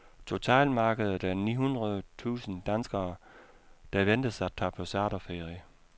Totalmarkedet er ni hundrede tusind danskere, der ventes at tage på charterferie.